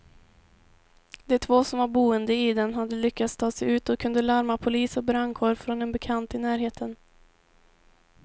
De två som var boende i den hade lyckats ta sig ut och kunde larma polis och brandkår från en bekant i närheten.